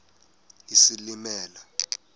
isilimela